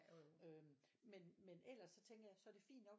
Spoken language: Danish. Men men ellers så tænker jeg så er det fint nok